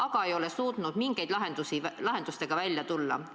Aga nad ei ole suutnud mingi lahendusega välja tulla.